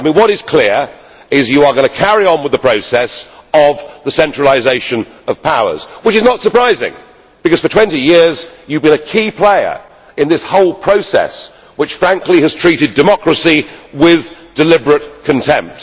What is clear is that you are going to carry on with the process of the centralisation of powers, which is not surprising because for 20 years you have been a key player in this whole process, which frankly has treated democracy with deliberate contempt.